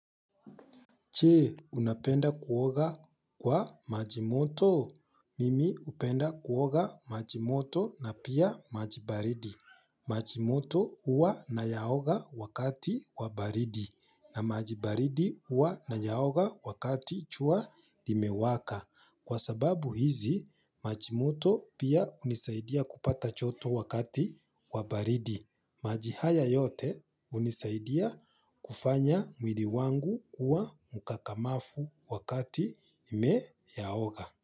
Che, unapenda kuoga kwa maji moto? Mimi upenda kuoga maji moto na pia maji baridi. Maji moto uwa nayaoga wakati wa baridi na maji baridi huwa nayaoga wakati jua imewaka. Kwa sababu hizi, maji moto, pia, unisaidia kupata choto wakati wa baridi. Maji haya yote, hunisaidia kufanya mwili wangu kuwa mkakamafu wakati ime yaoga.